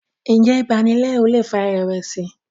njé ibanilẹru lè fà irẹwẹsi?